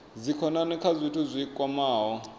dzikhonani kha zwithu zwi kwamaho